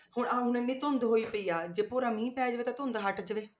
ਹੁਣ ਆਹ ਇੰਨੀ ਇੰਨੀ ਧੁੰਦ ਹੋਈ ਪਈ ਆ ਜੇ ਭੋਰਾ ਮੀਂਹ ਪੈ ਜਾਵੇ ਤਾਂ ਧੁੰਦ ਹਟ ਜਾਵੇ।